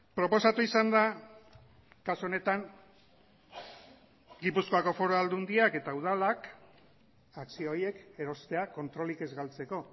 proposatu izan da kasu honetan gipuzkoako foru aldundiak eta udalak akzio horiek erostea kontrolik ez galtzeko